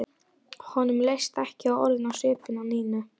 Honum leist ekki orðið á svipinn á Nínu.